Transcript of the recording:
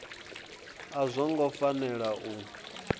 a zwo ngo fanela u